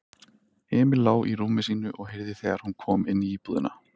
Emil lá í rúmi sínu og heyrði þegar hún kom inní íbúðina.